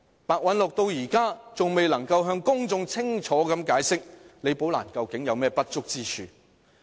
白韞六至今仍未能向公眾清楚解釋，李寶蘭究竟有何不足之處。